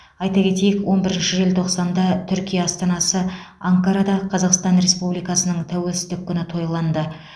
айта кетейік он бірінші желтоқсанда түркия астанасы анкарада қазақстан республикасының тәуелсіздік күні тойланды